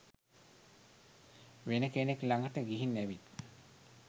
වෙන කෙනෙක් ලඟට ගිහිං ඇවිත්